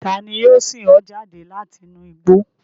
Tani yio sin o jade lati inu igbo?